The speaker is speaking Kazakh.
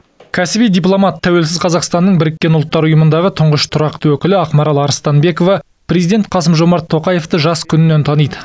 кәсіби дипломат тәуелсіз қазақстанның біріккен ұлттар ұйымындағы тұңғыш тұрақты өкілі ақмарал арыстанбекова президент қасым жомарт тоқаевты жас күнінен таниды